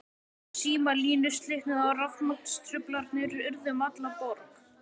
Símalínur slitnuðu og rafmagnstruflanir urðu um alla borg.